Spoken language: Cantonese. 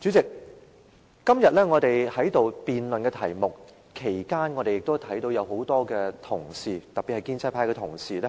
主席，在我們今天辯論題目期間，很多同事，特別是建制派的同事，